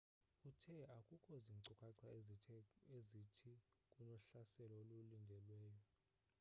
uthe akukho zinkcukatha ezithi kunohlaselo olulindelweyo